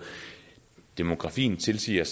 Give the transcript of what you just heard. demografien tilsiger